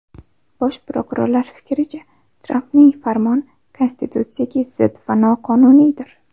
Bosh prokurorlar fikricha, Trampning farmoni konstitutsiyaga zid va noqonuniydir.